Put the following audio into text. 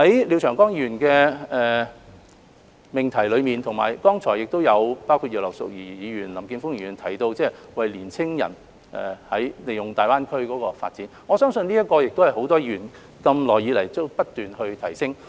廖長江議員提出的議案題目，以及剛才葉劉淑儀議員及林健鋒議員均有提到的是年青人利用大灣區發展，而我相信這亦是很多議員一直希望提升的範疇。